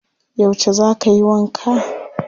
Yauce za ka yi wanka?